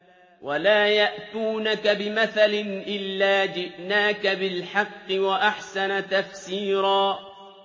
وَلَا يَأْتُونَكَ بِمَثَلٍ إِلَّا جِئْنَاكَ بِالْحَقِّ وَأَحْسَنَ تَفْسِيرًا